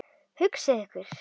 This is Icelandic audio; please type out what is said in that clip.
Hugsið ykkur!